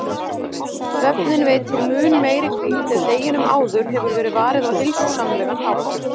Svefninn veitir mun meiri hvíld ef deginum áður hefur verið varið á heilsusamlegan hátt.